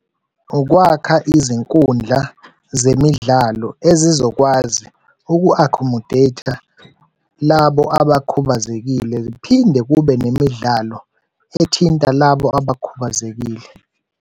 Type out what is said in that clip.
Ukwakha izinkundla zemidlalo ezizokwazi uku-accommodate-a labo abakhubazekile, ziphinde kube nemidlalo ethinta labo abakhubazekile.